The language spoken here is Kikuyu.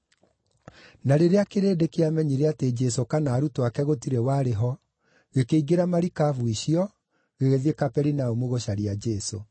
Na rĩrĩa kĩrĩndĩ kĩamenyire atĩ Jesũ kana arutwo ake gũtirĩ warĩ ho, gĩkĩingĩra marikabu icio, gĩgĩthiĩ Kaperinaumu gũcaria Jesũ.